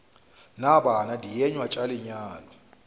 na bana dienywa tša lenyalo